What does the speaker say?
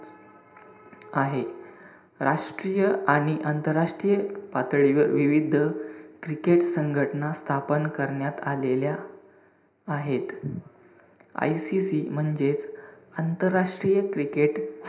आहे. राष्ट्रीय आणि आंतरराष्ट्रीय पातळीवर विविध cricket संघटना स्थापन करण्यात आलेल्या आहेत. ICC म्हणजेच आंतरराष्ट्रीय cricket,